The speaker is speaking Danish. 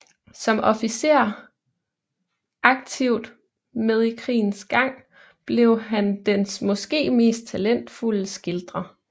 Som officer aktivt med i krigens gang blev han dens måske mest talentfulde skildrer